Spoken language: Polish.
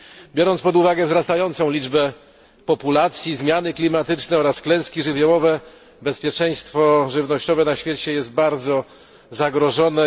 Biorąc pod uwagę wzrastającą liczbę ludności, zmiany klimatyczne oraz klęski żywiołowe, bezpieczeństwo żywnościowe na świecie jest bardzo zagrożone.